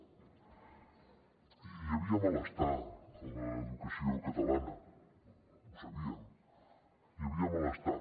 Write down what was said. hi havia malestar a l’educació catalana ho sabíem hi havia malestar